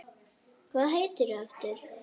Hvað heitir þú aftur?